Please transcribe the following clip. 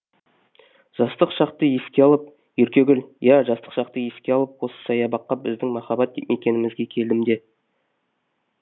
жастық шақты еске алып еркегүл иә жастық шақты еске алып осы саябаққа біздің махаббат мекенемізге келдім де